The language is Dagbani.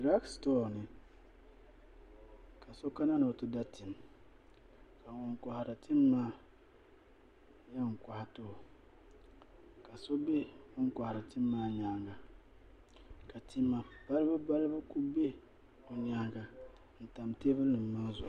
Druk stor ni kaso kana ni ɔti da tim. ka ŋun kohiri tima maa yan kohi tim maa n too ka so be ŋun kohiri tima maa nyaaŋa ka tima balibu balibu kuli be ŋun kohiri tima maa nyaaŋa n kuli tamtam teebuli zuɣu